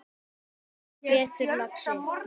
Heldur betur, lagsi